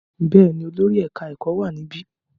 Bẹ́ẹ̀ ni, olórí ẹ̀ka-ẹ̀kọ́ wà níbí.